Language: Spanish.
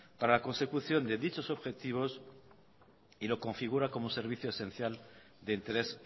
para la consecución de dichos objetivos y lo configura como servicio esencial de interés